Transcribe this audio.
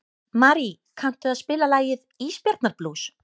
Marí, kanntu að spila lagið „Ísbjarnarblús“?